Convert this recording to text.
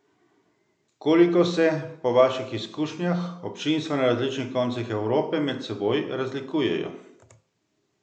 Koliko se, po vaših izkušnjah, občinstva na različnih koncih Evrope med seboj razlikujejo?